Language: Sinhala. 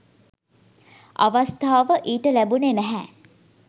අවස්ථාව ඊට ලැබුණේ නැහැ.